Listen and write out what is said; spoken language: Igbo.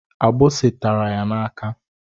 Agbisi tara ya n'aka.